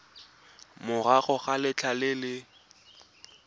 morago ga letlha le le